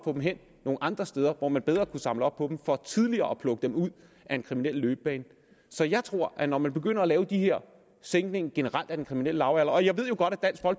få dem hen nogle andre steder hvor man bedre kunne samle op på dem for tidligere at plukke dem ud af en kriminel løbebane så jeg tror at når man begynder at lave den her sænkning generelt af den kriminelle lavalder jeg ved jo godt